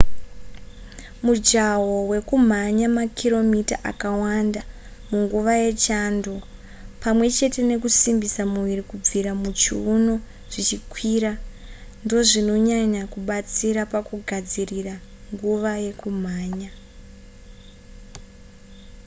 mujaho wekumhanya makiromita akawanda munguva yechando pamwe chete nekusimbisa muviri kubvira muchiuno zvichikwira ndozvinonyanya kubatsira pakugadzirira nguva yekumhanya